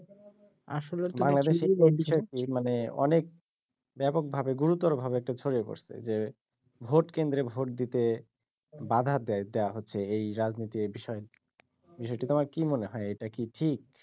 বাংলাদেশের এই বিষয়টি মানে অনেক ব্যাপকভাবে গুরুতর ভাবে এটি ছডিয়ে পডছে যে ভোট কেন্দ্রে ভোট দিতে বাধা দেওয়া হচ্ছে রাজনৈতিক এই বিষয়টি তোমার কি মনে হয় এটি কি ঠিক